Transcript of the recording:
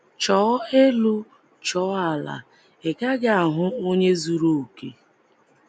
Chọọ elu chọọ ala, ị gaghị ahụ onye zuru okè.